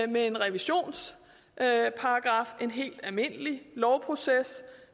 med en revisionsparagraf det en helt almindelig lovproces